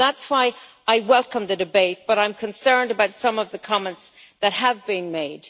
And that is why I welcome the debate but I am concerned about some of the comments that have been made.